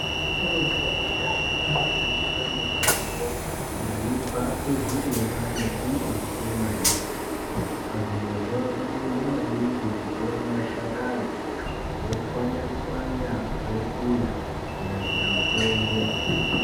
Vasharukwa vekudhaya vaishandisa mitombo yaibva kuzvirimwa nezvimbuti maningi, pazvirozvo vainyanya maningi kutora mashakanyi votswanya-tswanya vokuya-kuya kunyasira mutombo.